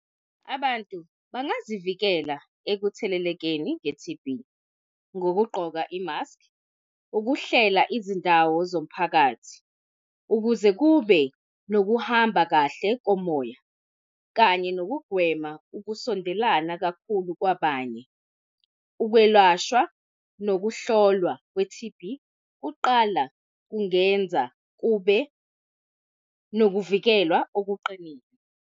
Abantu bangazivikela ekuthelelekeni nge-T_B, ngokugqoka i-mask, ukuhlela izindawo zomphakathi ukuze kube nokuhamba kahle komoya, kanye nokugwema ukusondelana kakhulu kwabanye. Ukwelashwa nokuhlolwa kwe-T_B kuqala kungenza kube nokuvikelwa okuqinile.